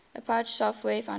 apache software foundation